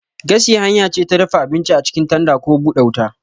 Gashi hanya ce ta dafa abinci a cikin tanda ko bude wuta.